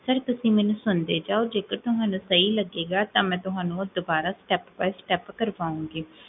Sir, ਤੁਸੀਂ ਮੈਨੂ ਸੁਣਦੇ ਜਾਓ, ਜੇਕਰ ਤੁਹਾਨੂਸਹੀ ਲਗੇਗਾ, ਤਾਂ ਮੈਂ ਤੁਹਾਨੂ ਦ੍ਬਾਰਾ step by step ਕ੍ਰ੍ਵਾਉਂਗੀ